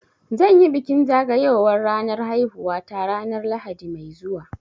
Zan yi bikin zagayowar ranar haihuwata ranar Lahadi mai zuwa